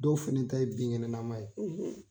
Dɔw fana ta ye binkɛnɛnaman ye